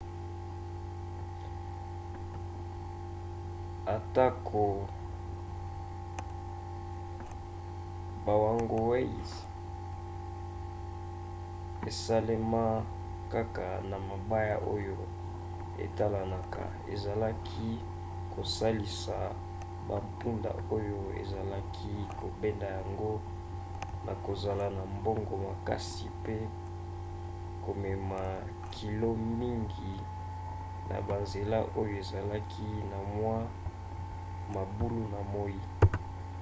atako bawagonways esalema kaka na mabaya oyo etalanaka ezalaki kosalisa bampunda oyo ezalaki kobenda yango na kozala na mbango makasi mpe komema kilo mingi na banzela oyo azalaki na mwa mabulu na moi